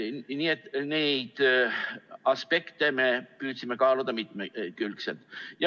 Nii et neid aspekte me püüdsime kaaluda mitmekülgselt.